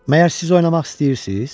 Məyər siz oynamaq istəyirsiz?